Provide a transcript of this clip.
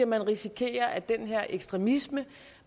man risikerer at den her ekstremisme